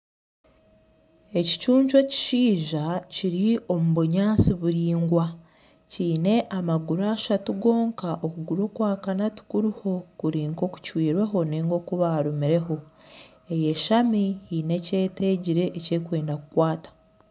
Ekicuncu ekishaija kiri omu bunyansi buringwa kiine amaguru ashatu gonka okuguru okwakana tikuriho kurinka okucwirweho ninga okubarumireho eyeshami haine ekyetegire ekyerukwenda kukwata.